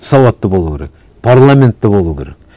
сауатты болу керек парламент те болу керек